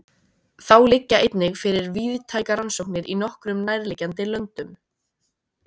Þá liggja einnig fyrir víðtækar rannsóknir í nokkrum nærliggjandi löndum.